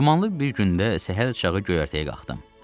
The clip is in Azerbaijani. Dumanlı bir gündə səhərçağı göyərtəyə qalxdım.